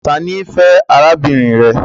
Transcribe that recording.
Ta ni I fe arabinrin rẹ?